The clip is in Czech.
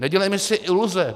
Nedělejme si iluze.